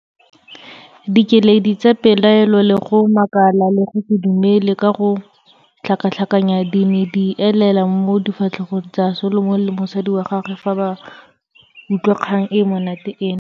Dikeledi tsa pelaelo le go makala le go se dumele ka go tlhakatlhakanya di ne elela mo difatlhegong tsa Solomon le mosadi wa gagwe fa ba utlwa kgang e e monate ena.